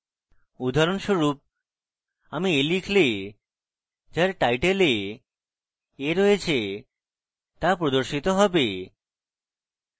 উদাহরণস্বরূপ আমরা a লিখলে যার title a a রয়েছে তা প্রদর্শিত have